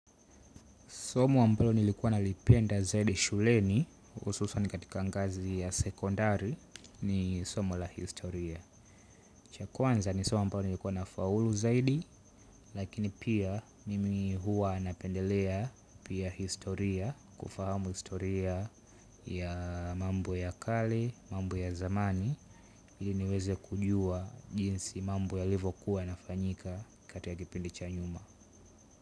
Somo ambalo nilikuwa na lipenda zaidi shuleni, ususwa ni katika ngazi ya sekondari, ni somo la historia. Chakwanza ni somo ambaalo nilikuwa na faulu zaidi, lakini pia mimi huwa napendelea pia historia, kufahamu historia ya mambo ya kali, mambo ya zamani, ili niweze kujua jinsi mambo ya livokuwa na fanyika katika kipindi chanyuma.